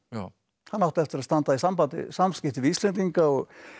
hann átti eftir að standa í samskiptum við Íslendinga og